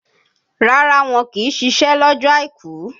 Rárá, wọ́n kì í ṣiṣẹ́ lọ́jọ́ àìkú.